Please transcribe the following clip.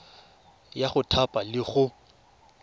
ya go thapa le go